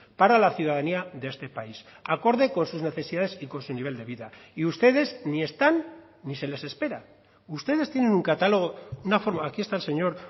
para la ciudadanía de este país acorde con sus necesidades y con su nivel de vida y ustedes ni están ni se les espera ustedes tienen un catálogo una forma aquí está el señor